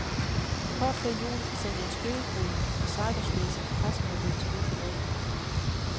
Kort før jul sendte en spøgefugl i cyberspace en pressemeddelelse ud på nettet.